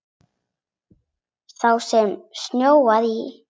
Sá sem snjóar í.